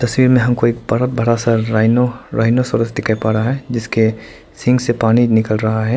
तस्वीर में हम को एक बरा बड़ा सा राइनो राइनो सिरोज़ दिखाई पड़ रहा है जिसके सींग से पानी निकल रहा है।